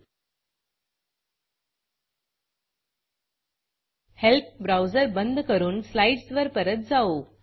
help browser बंद करून स्लाईडसवर परत जाऊ